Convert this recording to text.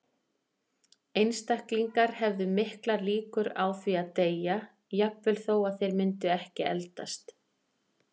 Einstaklingar hefðu miklar líkur á því að deyja, jafnvel þó að þeir myndu ekki eldast.